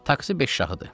Taksi beş şahıdır.